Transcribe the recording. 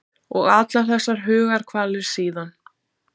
Og allar þessar hugarkvalir síðan.